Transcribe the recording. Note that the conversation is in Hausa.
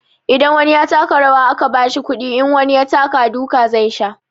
Idan wani ya taka rawa aka bashi kuɗi, in wani ya taka duka zai sha.